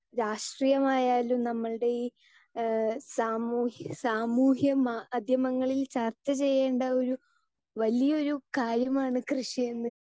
speaker 2 രാഷ്ട്രീയമായാലും നമ്മൾടെ ഈ ഏഹ് സാമൂഹ്യ സാമൂഹ്യമാധ്യമങ്ങളിൽ ചർച്ച ചെയ്യണ്ട ഒരു വലിയ ഒരു കാര്യമാണ് കൃഷി എന്ന്